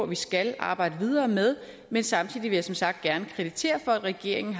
vi skal arbejde videre med men samtidig vil jeg som sagt gerne kreditere regeringen